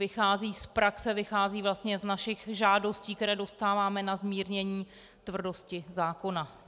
Vychází z praxe, vychází vlastně z našich žádostí, které dostáváme na zmírnění tvrdosti zákona.